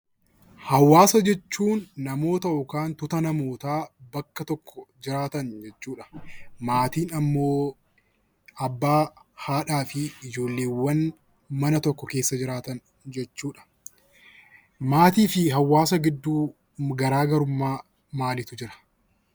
Hawaasa jechuun namoota yookaan tuuta namootaa bakka tokko jiraatan jechuudha. Maatiin immoo abbaa , haadhaa fi ijoollee mana tokko keessa jiraatan jechuudha. Maatii fi hawaasa gidduu garaagarummaa maaliitu Jira?